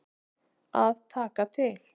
Að taka til.